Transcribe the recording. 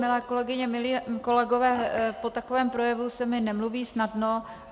Milé kolegyně, milí kolegové, po takovém projevu se mi nemluví snadno.